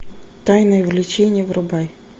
тайное влечение врубай